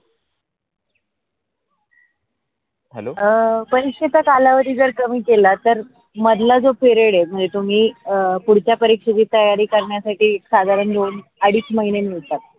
अं पैईसेच कालावधी जरी कमी केला तर मधला जो period आहे, म्हनजे तुम्ही अ पुढच्या परीक्षेची तयारी करण्या साठी साधारण लोन अडिच महीन्या नुसार.